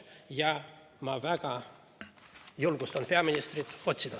Ja ma väga julgustan peaministri seda otsima.